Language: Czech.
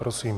Prosím.